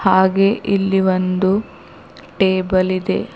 ಹಾಗೇ ಇಲ್ಲಿ ಒಂದು ಟೇಬಲ್ ಇದೆ.